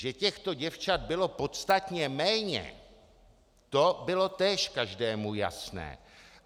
Že těchto děvčat bylo podstatně méně, to bylo též každému jasné.